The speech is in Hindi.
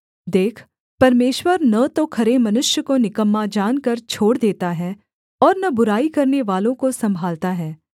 देख परमेश्वर न तो खरे मनुष्य को निकम्मा जानकर छोड़ देता है और न बुराई करनेवालों को सम्भालता है